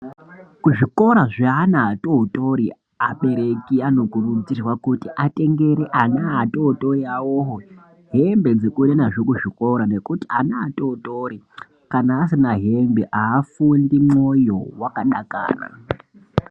Kuzvikora zveana atori tori abereki anokurudzirwa kuti atengere ana atori tori awowo hembe dzekuende nazvo kuzvikora ngekuti ana atotori kana asina hembe haafundi mwoyo wakadakara.